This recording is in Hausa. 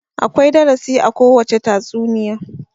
Akwai darasi a kowacce tatsuniya.